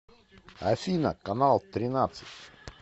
афина канал тринадцать